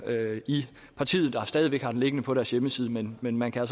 i partiet der stadig væk har den liggende på deres hjemmeside men men man kan